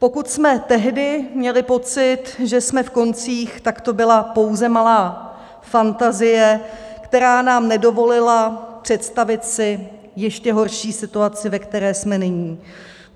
Pokud jsme tehdy měli pocit, že jsme v koncích, tak to byla pouze malá fantazie, která nám nedovolila představit si ještě horší situaci, ve které jsme nyní.